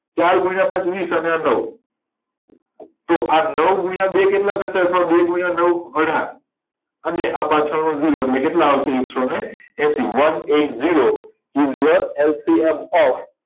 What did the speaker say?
ચાર ગુણ્યા પાંચ વીસ અને આ નવ તો આ નવ તો આ નવ ગુણ્યા બે કેટલા થશે અથવા આ બે ગુણ્યા નવ અઢાર અને આ પાછળ નો જીરો એટલે કેટલા આવશે એકશો ને એશી one eight zero તો